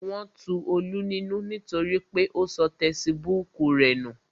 Wọn tu Olú nínú nítorí pé ó sọ tesibúùkù rẹ̀ nù